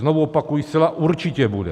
Znovu opakuji, zcela určitě bude.